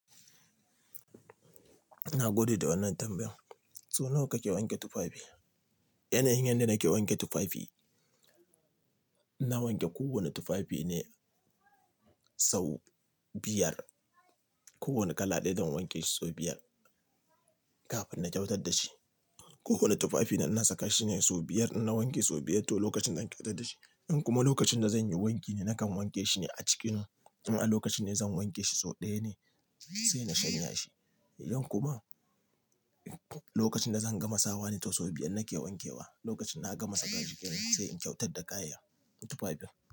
Ina godiya da wannan tambayar. So nawa kake wanke tufafi? Yanayin yan da nake wanke tufafi, na wanke kowane tufafi ne sau biyar. Kowane kala ɗaya zan wanke shi sau biyar kafin na kyautar da shi. Kowane tufafi na saka shine sau biyar, na wanke sau biyar to lokacin zan kyautar da shi. In kuma lokacin da zan yi wanki ne, nakan wanke shi ne a cikin. In a lokacin ne zan wanke shi sau ɗaya ne sai na shanya shi. In kuma lokacin da zan gama sawa ne tou sau biyar nake wankewa. Lokacin na gama saka jiki ne sai in kyautar da kayan tufafin.